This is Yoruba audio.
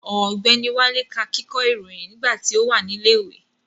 Ọ̀gbẹ́ni Wálé ká kíkọ́ ìròyìn nígbà tí ó wà ní ilẹ̀ ìwé